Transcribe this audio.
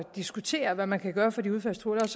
diskutere hvad man kan gøre for de udfaldstruede